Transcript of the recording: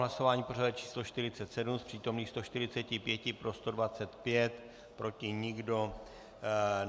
Hlasování pořadové číslo 47, z přítomných 145 pro 125, proti nikdo.